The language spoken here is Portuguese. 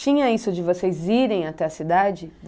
Tinha isso de vocês irem até a cidade?